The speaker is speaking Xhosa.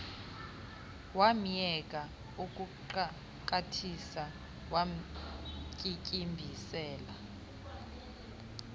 wamyeka ukuxakathisa wamtyityimbisela